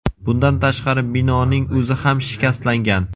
Bundan tashqari binoning o‘zi ham shikastlangan.